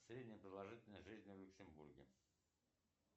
средняя продолжительность жизни в люксембурге